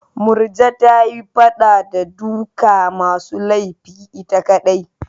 Murja ta yi fada da duka masu laifi ita kaɗai.